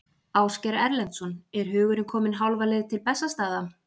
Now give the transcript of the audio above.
Ásgeir Erlendsson: Er hugurinn kominn hálfa leið til Bessastaða?